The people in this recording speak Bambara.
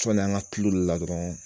Sɔɔni an ka tulu la dɔrɔn